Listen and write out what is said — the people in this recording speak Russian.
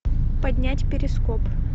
поднять перископ